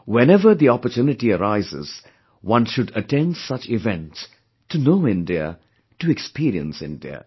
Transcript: Whenever the opportunity arises, one should attend such events to know India, to experience India